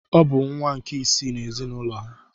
Ọ bụ nwa nke isii n’ezinụlọ ha.